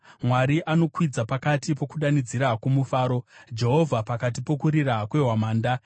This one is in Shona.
Mwari akwidza kumusoro pakati pokudanidzira kwomufaro, Jehovha pakati pokurira kwehwamanda.